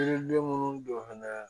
Yiriden munnu don fana